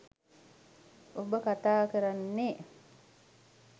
ඔබ කතා කරන්නේ